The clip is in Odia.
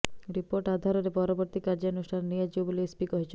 ରିପୋର୍ଟ ଆଧାରରେ ପରବର୍ତ୍ତୀ କାର୍ଯ୍ୟାନୁଷ୍ଠାନ ନିଆଯିବ ବୋଲି ଏସ୍ପି କହିଛନ୍ତି